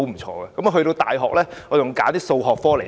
於是，我在大學選修了多個數學科目。